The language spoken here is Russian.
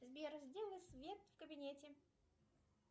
сбер сделай свет в кабинете